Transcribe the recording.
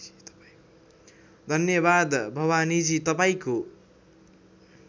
धन्यवाद भवानीजी तपाईँको